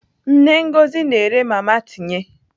Nne Ngozi na-ere mama tinye.